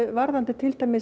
varðandi